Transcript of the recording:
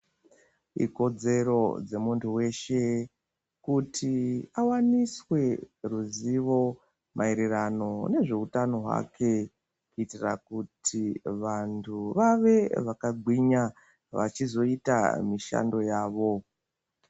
Ikodzero dzemuntu veshe kuti avaniswe huzivo maererano nezveutano hwake. Kuitira kuti vantu vave vakagwinya vachizoita mishando yavo.